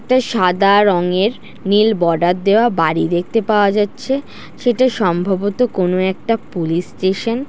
একটি সাদা রঙের নীল বর্ডার দেওয়া বাড়ি দেখতে পাওয়া যাচ্ছে। সেটা সম্ভবত কোনো একটা পুলিশ স্টেশন ।